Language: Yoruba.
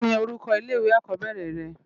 Kini órúkò ilé iwé ákòbèrè rè?